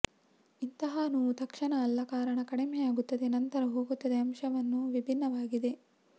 ಇಂತಹ ನೋವು ತಕ್ಷಣ ಅಲ್ಲ ಕಾರಣ ಕಡಿಮೆಯಾಗುತ್ತದೆ ನಂತರ ಹೋಗುತ್ತದೆ ಅಂಶವನ್ನು ವಿಭಿನ್ನವಾಗಿದೆ